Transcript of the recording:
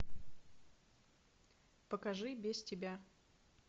покажи без тебя